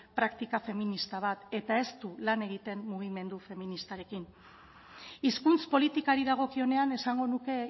praktika feminista bat eta ez du lan egiten mugimendu feministarekin hizkuntz politikari dagokionean esango nuke